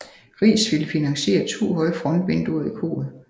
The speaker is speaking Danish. Riis ville finansiere to høje frontvinduer i koret